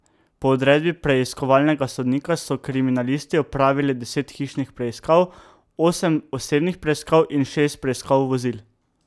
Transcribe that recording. Po odredbi preiskovalnega sodnika so kriminalisti opravili deset hišnih preiskav, osem osebnih preiskav in šest preiskav vozil.